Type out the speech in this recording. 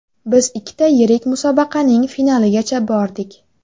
Biz ikkita yirik musobaqaning finaligacha bordik.